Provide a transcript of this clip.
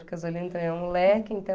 Porque o Zolino também é um moleque, então...